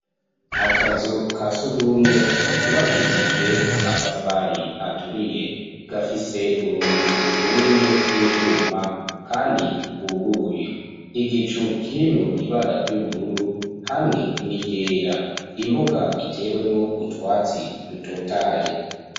Akazu, ka surwumwe, kubakishijwe amatafari, aturiye; gafise urugi runini, rw'ivyuma, kandi rwuguruye; igicu, kirimwo ibara ry'ubururu, hamwe n'iryera; imbuga itewemwo utwatsi, dutotaye.